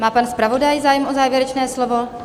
Má pan zpravodaj zájem o závěrečné slovo?